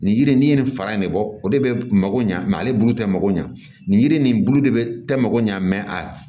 Nin yiri in n'i ye nin fara in ne bɔ o de bɛ mako ɲa mɛ ale bulu tɛ mako ɲa nin yiri nin bulu de bɛ tɛ mako ɲa a